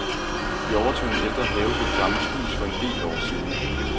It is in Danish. Vi overtog en ældre have ved et gammelt hus for en del år siden.